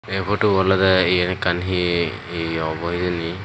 ei putubu olodey yen ekkan hi ye obo hijeni.